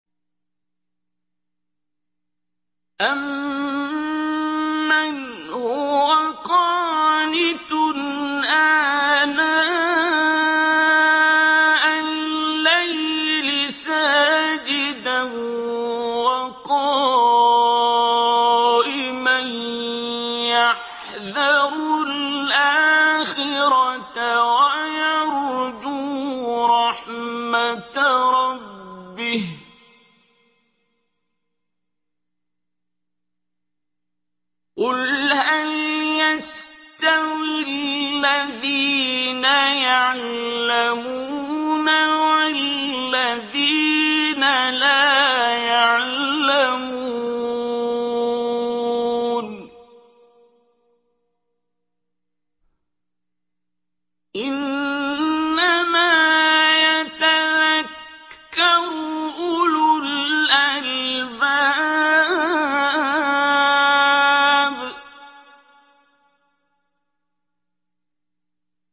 أَمَّنْ هُوَ قَانِتٌ آنَاءَ اللَّيْلِ سَاجِدًا وَقَائِمًا يَحْذَرُ الْآخِرَةَ وَيَرْجُو رَحْمَةَ رَبِّهِ ۗ قُلْ هَلْ يَسْتَوِي الَّذِينَ يَعْلَمُونَ وَالَّذِينَ لَا يَعْلَمُونَ ۗ إِنَّمَا يَتَذَكَّرُ أُولُو الْأَلْبَابِ